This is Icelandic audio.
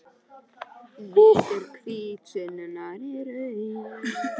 Litur hvítasunnunnar er rauður.